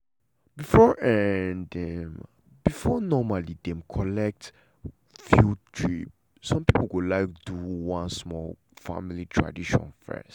before um dem before um dem collet um drip some pipo like go do um small family tradition fess.